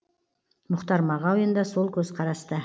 мұхтар мағауин да сол көзқараста